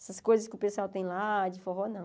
Essas coisas que o pessoal tem lá, de forró, não.